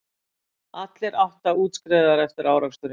Allir átta útskrifaðir eftir áreksturinn